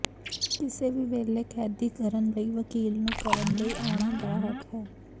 ਕਿਸੇ ਵੀ ਵੇਲੇ ਕੈਦੀ ਕਰਨ ਲਈ ਵਕੀਲ ਨੂੰ ਕਰਨ ਲਈ ਆਉਣ ਦਾ ਹੱਕ ਹੈ